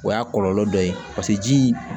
O y'a kɔlɔlɔ dɔ ye paseke jii